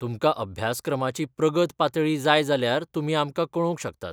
तुमकां अभ्यासक्रमाची प्रगत पातळी जाय जाल्यार तुमी आमकां कळोवंक शकतात.